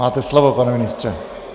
Máte slovo, pane ministře.